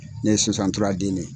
Ne ye den ne ye.